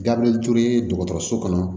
Dabirili ture dɔgɔtɔrɔso kɔnɔ